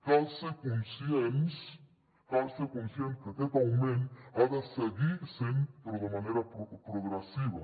cal ser conscients cal ser conscients que aquest augment hi ha de seguir sent però de manera progressiva